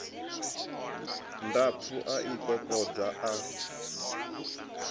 ndapfu a i kokodza a